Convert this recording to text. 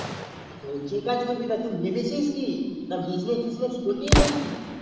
ও তা তুই কি কাজ কোরবিস তা তুই ভেবেছিস না আবার business করবি